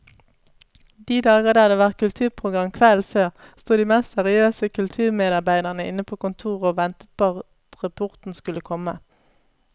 De dager det hadde vært kulturprogram kvelden før, sto de mest seriøse kulturmedarbeidere inne på kontoret og ventet på at rapporten skulle komme.